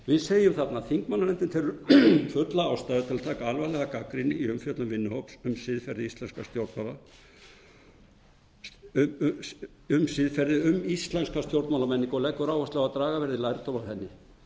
við segjum þarna þingmannanefndin telur fulla ástæðu til að taka alvarlega gagnrýni í umfjöllun vinnuhóps um siðferði um íslenska stjórnmálamenningu og leggur áherslu á að draga verði lærdóm af henni